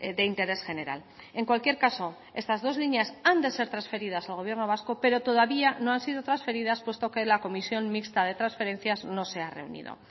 de interés general en cualquier caso estas dos líneas han de ser transferidas al gobierno vasco pero todavía no han sido transferidas puesto que la comisión mixta de transferencias no se ha reunido